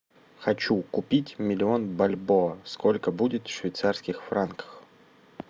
хочу купить миллион бальбоа сколько будет в швейцарских франках